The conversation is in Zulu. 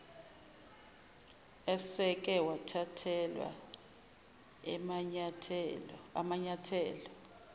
eseke wathathelwa amanyathelo